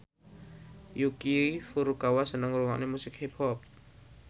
Yuki Furukawa seneng ngrungokne musik hip hop